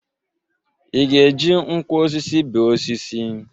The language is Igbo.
Ị ga-eji nkwọ osisi bee osisi?